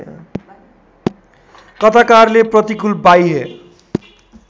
कथाकारले प्रतिकूल बाह्य